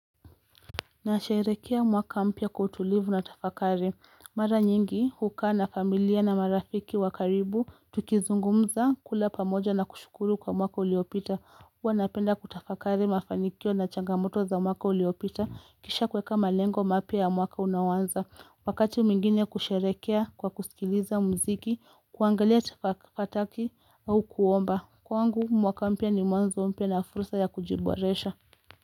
Nasherehekea mwaka mpya kwa utulivu na tafakari. Mara nyingi hukaa na familia na marafiki wa karibu tukizungumza, kula pamoja na kushukuru kwa mwaka uliopita. Huwa napenda kutafakari mafanikio na changamoto za mwaka uliopita kisha kuweka malengo mapya ya mwaka unaoanza wakati mwingine kusherehekea kwa kusikiliza mziki kuangalia fataki au kuomba kwangu mwaka mpya ni mwanzo mpya na fursa ya kujiboresha.